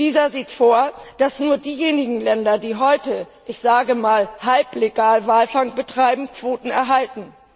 Dieser sieht vor, dass nur diejenigen Länder, die heute ich sage mal halblegal Walfang betreiben, Quoten erhalten.